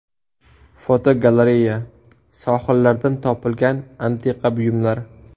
Fotogalereya: Sohillardan topilgan antiqa buyumlar.